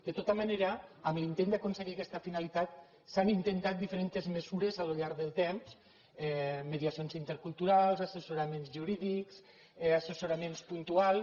de tota manera en l’intent d’aconseguir aquesta finalitat s’han intentat diferents mesures al llarg del temps mediacions interculturals assessoraments jurídics assessoraments puntuals